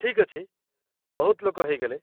ଠିକ୍ ଅଛି, ବହୁତ ଲୋକ ହେଇଗଲେ।